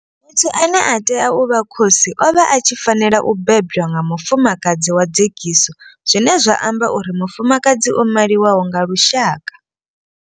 Muthu ane a tea u vha khosi o vha a tshi fanela u bebwa nga mufumakadzi wa dzekiso zwine zwa amba uri mufumakadzi o maliwaho nga lushaka.